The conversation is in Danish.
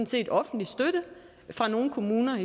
set offentlig støtte fra nogle kommuner